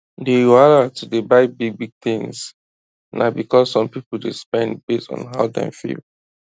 d wahala to dey buy big big things na because some people dey spend based on how dem dey feel